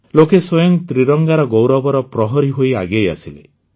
ଲୋକେ ସ୍ୱୟଂ ତ୍ରିରଙ୍ଗାର ଗୌରବର ପ୍ରହରୀ ହୋଇ ଆଗେଇ ଆସିଲେ